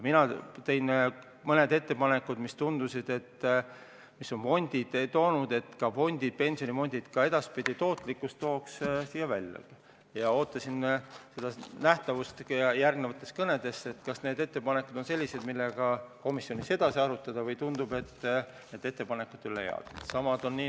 Mina tõin mõned ettepanekud, mis tundusid head, et suurendada pensionifondide tootlikkust, siia saali välja ja lootsin, et näen järgnevate kõnede ajal, kas need ettepanekud on sellised, mida võiks komisjonis edasi arutada, või tundub, et need ettepanekud ei ole head.